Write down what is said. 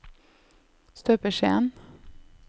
støpeskjeen